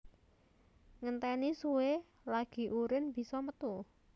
Ngentèni suwe lagi urin bisa metu